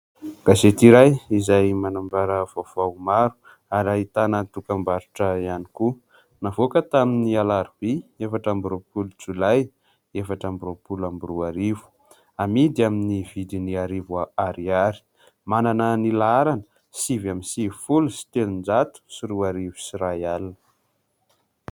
Gasety iray izay manambara vaovao maro ary ahitana dokam-barotra ihany koa .Navoaka tamin'ny alarobia efatra amby roa-polo jolay efatra amby roa -polo amby roa arivo. Amidy amin'ny vidiny arivo ariary; manana ny laharana sivy amby sivy folo sy telon-jato sy roa arivo sy iray alina.